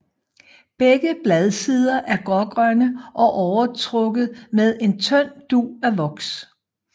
Begge bladsider er grågrønne og overtrukket med en tynd dug af voks